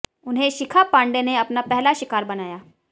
उन्हें शिखा पांडे ने अपना पहला शिकार बनाया